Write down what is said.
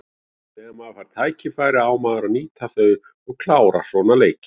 Þegar maður fær tækifæri á maður að nýta þau og klára svona leiki.